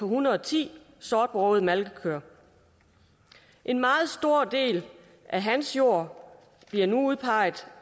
hundrede og ti sortbrogede malkekøer en meget stor del af hans jord bliver nu udpeget